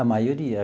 A maioria.